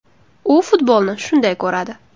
U futbolni shunday ko‘radi.